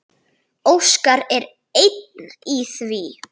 Óskar er einn í því.